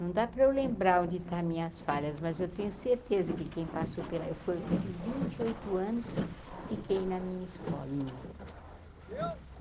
Não dá para eu lembrar onde está minhas falhas, mas eu tenho certeza que quem passou pela... Eu foi fui vinte e oito anos, fiquei na minha escolinha.